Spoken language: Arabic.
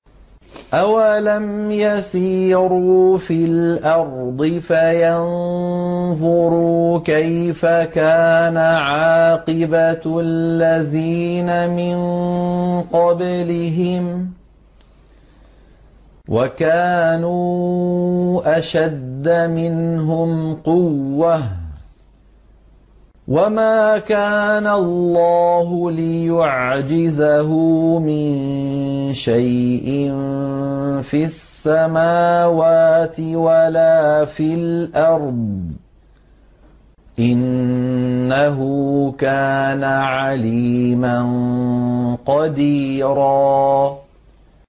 أَوَلَمْ يَسِيرُوا فِي الْأَرْضِ فَيَنظُرُوا كَيْفَ كَانَ عَاقِبَةُ الَّذِينَ مِن قَبْلِهِمْ وَكَانُوا أَشَدَّ مِنْهُمْ قُوَّةً ۚ وَمَا كَانَ اللَّهُ لِيُعْجِزَهُ مِن شَيْءٍ فِي السَّمَاوَاتِ وَلَا فِي الْأَرْضِ ۚ إِنَّهُ كَانَ عَلِيمًا قَدِيرًا